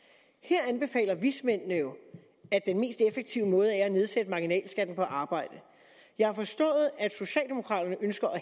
her anbefaler vismændene jo at den mest effektive måde er at nedsætte marginalskatten på arbejde jeg har forstået at socialdemokraterne ønsker at